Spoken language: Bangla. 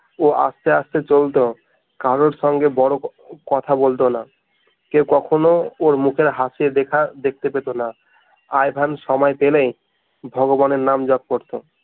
ও আস্তে আস্তে চলত কারোর সঙ্গে বড় কথা বলতো না কেউ কখনো ওই মুখের হাসির রেখা দেখতে পেতো না আই ভেন সময় পেলেই ভগবানের নাম জপ করতো